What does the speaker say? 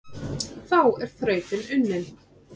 Þá er þrautin unnin,